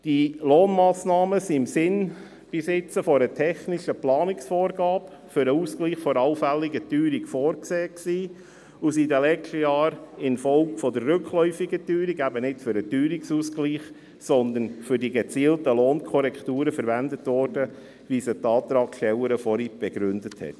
Diese Lohnmassnahmen waren bis jetzt im Sinne einer technischen Planungsvorgabe für den Ausgleich einer allfälligen Teuerung vorgesehen und wurden in den letzten Jahren infolge der rückläufigen Teuerung eben nicht für den Teuerungsausgleich, sondern für die gezielten Lohnkorrekturen verwendet, wie sie die Antragstellerin vorhin begründet hat.